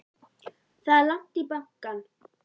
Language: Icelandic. Það er langt í bankann!